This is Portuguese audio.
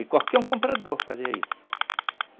E qualquer um comprador fazia isso.